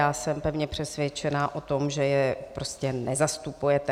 Já jsem pevně přesvědčená o tom, že je prostě nezastupujete.